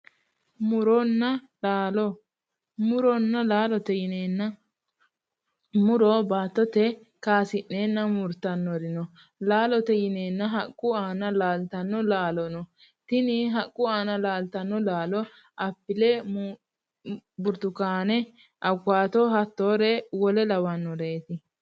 Muronna laalo:-Muronna laallote yineenna muro baattote kayisi'neenna murittannori no laalote yineenna haqqu aana laalttanno laalo no tini haqqu aanna laalttanno laalo apile buritukaane awukato hattoore wole lawannoreeti.